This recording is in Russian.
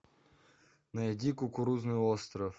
найди кукурузный остров